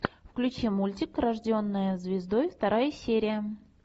включи мультик рожденная звездой вторая серия